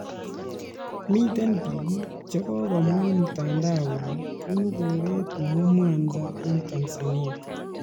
Mitei biik che kokomwa eng mtandao kole bunu koreet neu Mwanza eng Tanzania